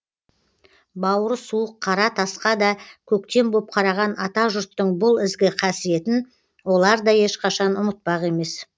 бауыры суық қара тасқа да көктем боп қараған ата жұрттың бұл ізгі қасиетін олар да ешқашан ұмытпақ емес